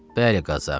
Bəli, Qazı ağa.